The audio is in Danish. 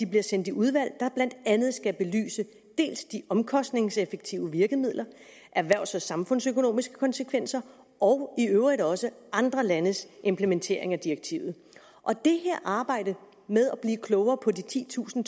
bliver sendt i udvalg der blandt andet skal belyse de omkostningseffektive virkemidler erhvervs og samfundsøkonomiske konsekvenser og i øvrigt også andre landes implementering af direktivet det her arbejde med at blive klogere på de titusind